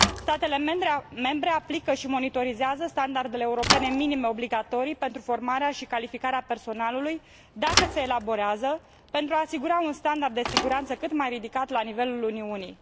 Statele membre aplică și monitorizează standardele europene minime obligatorii pentru formarea și calificarea personalului, dacă se elaborează, pentru a se asigura un standard de siguranță cât mai ridicat la nivelul Uniunii.